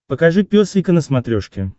покажи пес и ко на смотрешке